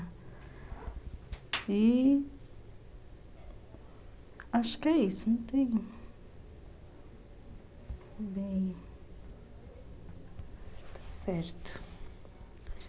E... Acho que é isso, não tem... Bem... Está certo.